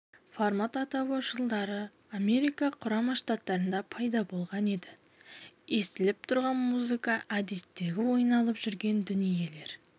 формат атауы жылдары америка құрама штаттарында пайда болған еді естіліп тұрған музыка әдеттегі ойналып жүрген дүниелер